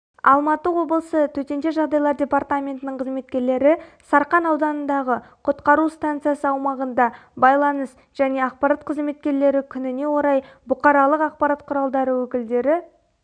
алматы облысы төтенше жағдайлар департаментінің қызметкерлері сарқан ауданындағы құтқару станциясы аумағында байланыс және ақпарат қызметкерлері күніне орай бұқаралық ақпарат құралдары өкілдері